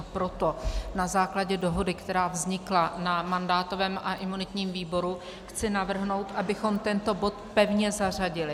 A proto na základě dohody, která vznikla na mandátovém a imunitním výboru, chci navrhnout, abychom tento bod pevně zařadili.